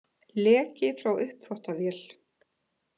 Leki frá uppþvottavél